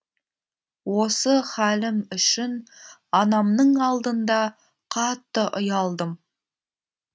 осы халім үшін анамның алдында қатты ұялдым